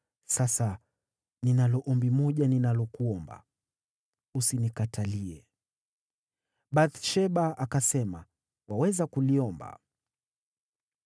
Sasa ninalo ombi moja ninalokuomba. Usinikatalie.” Bathsheba akasema, “Waweza kuliomba.”